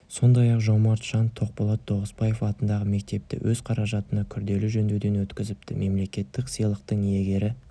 сондай-ақ жомарт жан тоқболат тоғысбаев атындағы мектепті өз қаражатына күрделі жөндеуден өткізіпті мемлекеттік сыйлықтың иегері